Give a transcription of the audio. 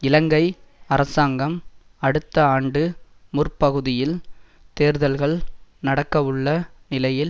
இலங்கை அரசாங்கம் அடுத்த ஆண்டு முற்பகுதியில் தேர்தல்கள் நடக்கவுள்ள நிலையில்